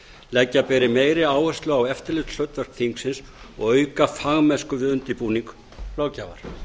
leggja beri meiri áherslu á eftirlitshlutverk þingsins og auka fagmennsku við undirbúning löggjafar